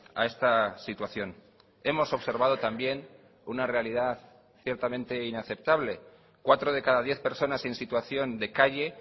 a esta situación hemos observado también una realidad ciertamente inaceptable cuatro de cada diez personas en situación de calle